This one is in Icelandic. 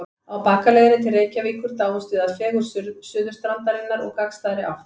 Á bakaleiðinni til Reykjavíkur dáumst við að fegurð Suðurstrandarinnar úr gagnstæðri átt.